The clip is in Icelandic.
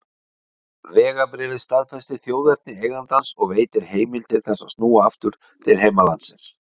Vegabréfið staðfestir þjóðerni eigandans og veitir heimild til þess að snúa aftur til heimalandsins.